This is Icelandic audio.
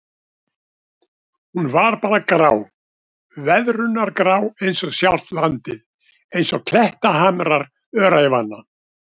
Hún var bara grá, veðrunargrá einsog sjálft landið, einsog klettahamrar öræfanna.